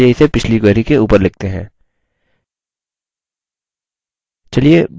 अभी के लिए इसे पिछली query के ऊपर लिखते हैं